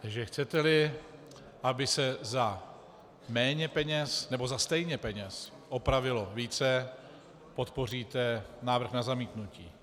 Takže chcete-li, aby se za méně peněz nebo stejně peněz opravilo více, podpoříte návrh na zamítnutí.